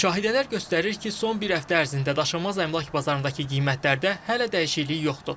Müşahidələr göstərir ki, son bir həftə ərzində daşınmaz əmlak bazarındakı qiymətlərdə hələ də dəyişiklik yoxdur.